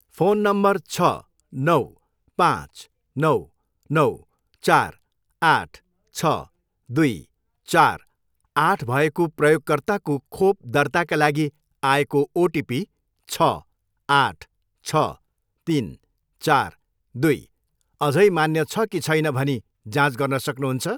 Phone number छ, नौ, पाँच, नौ, नौ, चार, आठ, छ, दुई, चार, आठ भएको प्रयोगकर्ताको खोप दर्ताका लागि आएको ओटिपी छ, आठ, छ, तिन, चार, दुई अझै मान्य छ कि छैन भनी जाँच गर्न सक्नुहुन्छ?